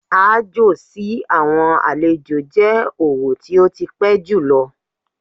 Aájò sí àwọn àlejò jẹ́ òwò tó ti pẹ́ jùlọ.